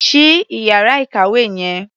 Ṣí ìyára ìkàwé yẹn.